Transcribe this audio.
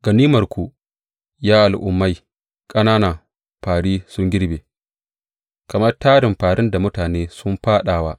Ganimarku, ya al’ummai ƙanana fāri sun girbe; kamar tarin fārin da mutane sun fāɗa wa.